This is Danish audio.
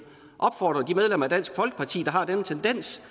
opfordre de medlemmer af dansk folkeparti har den tendens